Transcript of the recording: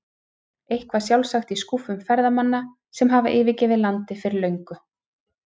Eitthvað sjálfsagt í skúffum ferðamanna sem hafa yfirgefið landið fyrir löngu.